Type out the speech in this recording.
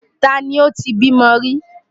Ta ni ó ti bímọ rí?